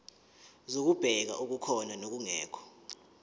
zokubheka okukhona nokungekho